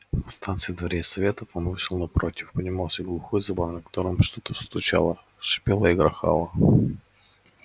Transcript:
на станции дворец советов он вышел напротив поднимался глухой забор за которым что то стучало шипело и грохало